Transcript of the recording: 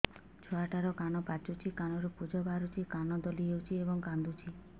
ଛୁଆ ଟା ର କାନ ପାଚୁଛି କାନରୁ ପୂଜ ବାହାରୁଛି କାନ ଦଳି ହେଉଛି ଏବଂ କାନ୍ଦୁଚି